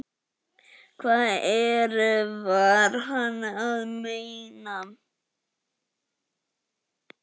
Hvað var hann að meina?